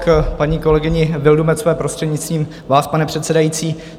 K paní kolegyni Vildumetzové, prostřednictvím vás, pane předsedající.